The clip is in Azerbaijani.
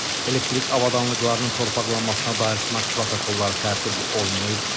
Elektrik avadanlıqlarının torpaqlanmasına dair sınaq protokolları tərtib olunmayıb.